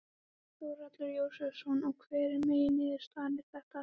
Þórhallur Jósefsson: Og hver er megin niðurstaða, er þetta hægt?